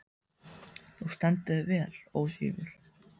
Þú stendur þig vel, Ósvífur!